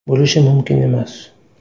Bo‘lishi mumkin emas.